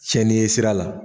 Fɛni ye sira la.